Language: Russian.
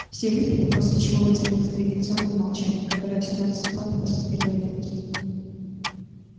все выпили после чего воцарилось традиционное молчание которое всегда наступает после первой рюмки